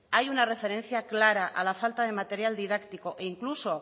ahí una referencia clara a la falta de material didáctico e incluso